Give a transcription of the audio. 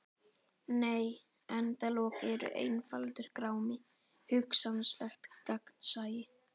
Nei endalok eru einfaldur grámi: hugsanlegt gagnsæi.